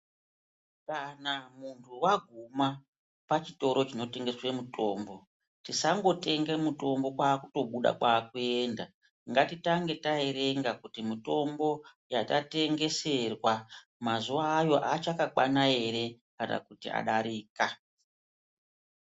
Kana muntu waguma panotengeserwa mutombo tisangotenga mitombo kwakutobuda kwekuenda ngatitange taerenga kuti mutombo yatatengeserwa mazuva ayo achakwana here kana kuti adarika.